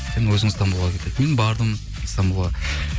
сен өзің стамбулға кел деді мен бардым стамбулға